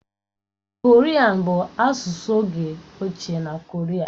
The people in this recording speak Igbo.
Korian bụ asụsụ oge ochie na Koria.